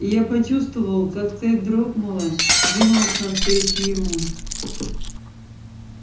и я почувствовал как цель дрогнула двинулась навстречу ему